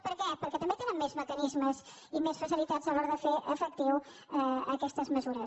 per què perquè també tenen més mecanismes i més facilitats a l’hora de fer efecti·ves aquestes mesures